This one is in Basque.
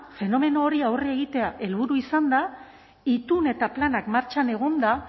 fenomeno horri aurre egitea helburu izanda itun eta planak martxan egonda